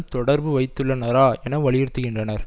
தொடர்பு வைத்துள்ளனரா என வலியுறுத்துகின்றனர்